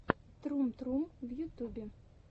трум трум в ютюбе